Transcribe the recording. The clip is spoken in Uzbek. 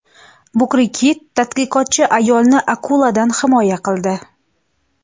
Bukri kit tadqiqotchi ayolni akuladan himoya qildi .